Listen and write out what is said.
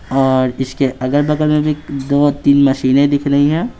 और इसके अगल-बगल में भी दो-तीन मशीनें दिख रही हैं।